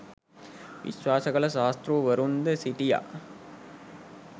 විශ්වාස කළ ශාස්තෘවරුන්ද සිටියා.